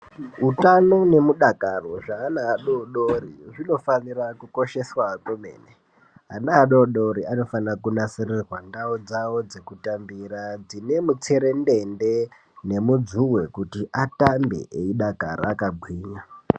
Utano nemudakaro zveana adoodori zvinofanira kukosheswa kwemene, ana adoodori anofana kunasirirwa ndau dzokutambira dzine mutserendende nemudzuwe kuti atambe eidakara akagwinya.